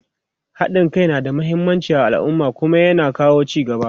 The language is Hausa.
haɗin Kai na da muhimmanci a alumma Kuma ya na kawo ci gaba